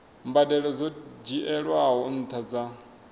mbadelo dzo dzhielwaho nṱha dza